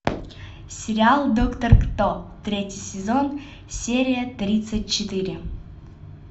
сериал доктор кто третий сезон серия тридцать четыре